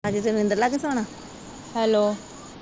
Hello.